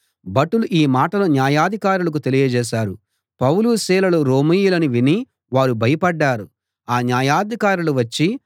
భటులు ఈ మాటలు న్యాయాధికారులకు తెలియజేశారు పౌలు సీలలు రోమీయులని విని వారు భయపడ్డారు ఆ న్యాయాధికారులు వచ్చి